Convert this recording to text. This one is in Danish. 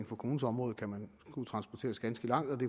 for kommunens område kan man skulle transporteres ganske langt